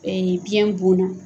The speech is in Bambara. biyɛn bon na